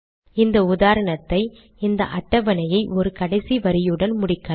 இந்த உதாரணத்தை இந்த அட்டவணையை ஒரு கடைசி வரியுடன் முடிக்கலாம்